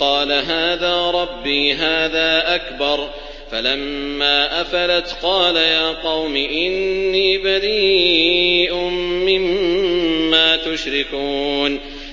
قَالَ هَٰذَا رَبِّي هَٰذَا أَكْبَرُ ۖ فَلَمَّا أَفَلَتْ قَالَ يَا قَوْمِ إِنِّي بَرِيءٌ مِّمَّا تُشْرِكُونَ